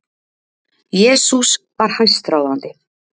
Jesús var hæstráðandi.